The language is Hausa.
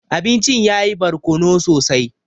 Abincin yayi barkono sosai.